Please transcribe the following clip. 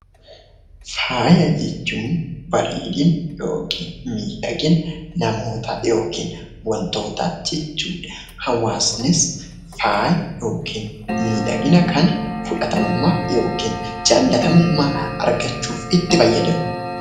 Faaya jechuun bareedina yookiin miidhagina namootaa yookiin wantootaa jechuudha. Hawaasnis faaya yookiin miidhagina kana fudhatamummaaf yookiin jaalatamummaa argachuuf itti fayyadamu.